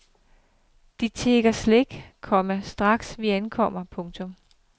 De tigger slik, komma straks vi ankommer. punktum